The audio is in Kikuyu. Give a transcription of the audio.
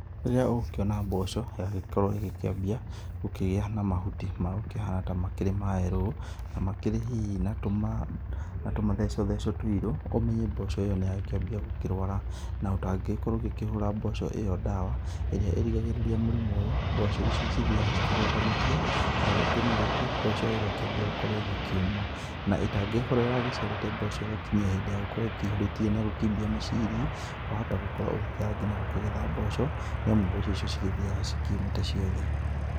Rĩrĩa ũgũkĩona mboco nĩyagĩkorwo ĩgĩkĩambia gũkĩgĩa na mahuti makĩhana ta makĩrĩ ma yerũ na makĩrĩ hihi na tũmatheco theco tũirũ, ũmenye mboco ĩyo nĩyakĩambia gũkĩrwara. Na ũtangĩgĩkorwo ũgĩkĩhũra mboco ĩyo ndawa ĩrĩa ĩrigagĩrĩria mũrimu ũyũ, mboco ici cithiaga ikĩgwatanĩtie na rĩngĩ na rĩngĩ mboco ĩyo ĩgakĩambia gũkĩũma. Na ĩtangĩgĩkorwo ĩragaĩciarĩte mboco ĩgakinyia hĩndĩ ya gũkorwo ĩkĩihũrĩtie na gũkĩimbia miciri wahota gũkorwo ngina ũgĩkĩaga gũkĩgetha mboco, nĩ amu mboco icio cigĩthiaga cikĩũmĩte ciothe.